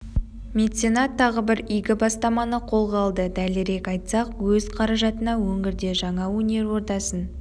меценат тағы бір игі бастаманы қолға алды дәлірек айтсақ өз қаражатына өңірде жаңа өнер ордасын